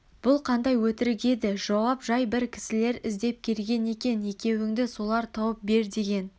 бұл қандай өтірік еді жауап жай бір кісілер іздеп келген екен екеуіңді солар тауып бер деген